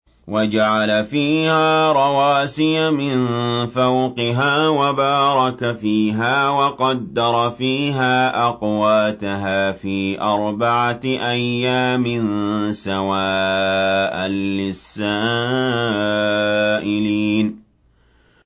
وَجَعَلَ فِيهَا رَوَاسِيَ مِن فَوْقِهَا وَبَارَكَ فِيهَا وَقَدَّرَ فِيهَا أَقْوَاتَهَا فِي أَرْبَعَةِ أَيَّامٍ سَوَاءً لِّلسَّائِلِينَ